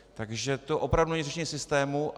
Takže to opravdu není řešení systému.